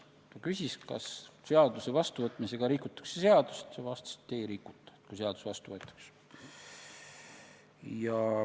Ta küsis, kas seaduse vastuvõtmisega rikutakse seadust, ja ma vastasin, et ei rikuta, kui seadus vastu võetakse.